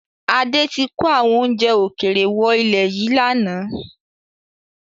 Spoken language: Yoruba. Adé tí kò àwọn oúnjẹ ókéré wọ ilẹ̀ yìí láánaà